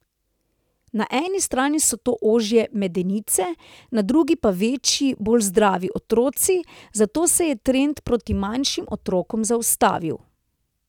Na eni strani so to ožje medenice, na drugi pa večji, bolj zdravi otroci, zato se je trend proti manjšim otrokom zaustavil.